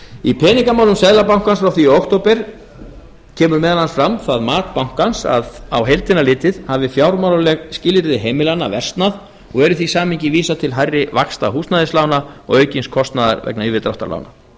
í peningamálum riti seðlabankans frá því í október kemur meðal annars fram það mat bankans að á heildina litið hafi fjármálaleg skilyrði heimilanna versnað og er í því samhengi vísað til hærri vaxta húsnæðislána og aukins kostnaðar vegna yfirdráttarlána